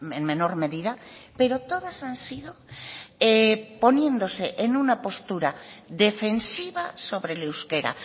en menor medida pero todas han sido poniéndose en una postura defensiva sobre el euskera